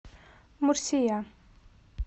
мурсия